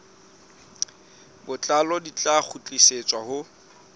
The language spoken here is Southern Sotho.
botlalo di tla kgutlisetswa ho